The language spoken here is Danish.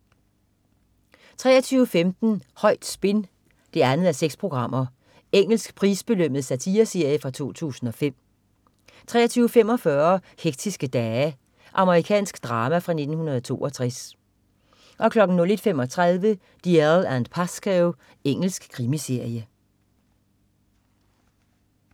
23.15 Højt spin 2:6. Engelsk prisbelønnet satireserie fra 2005 23.45 Hektiske dage. Amerikansk drama fra 1962 01.35 Dalziel & Pascoe. Engelsk krimiserie